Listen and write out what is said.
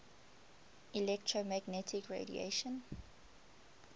electromagnetic radiation